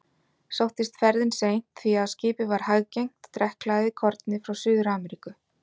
Sóttist ferðin seint, því að skipið var hæggengt og drekkhlaðið korni frá Suður-Ameríku.